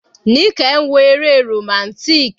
Nike ń wo eré romantic.